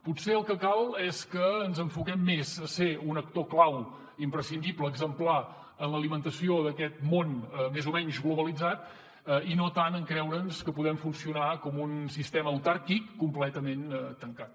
potser el que cal és que ens enfoquem més a ser un actor clau imprescindible exemplar en l’alimentació d’aquest món més o menys globalitzat i no tant en creure’ns que podem funcionar com un sistema autàrquic completament tancat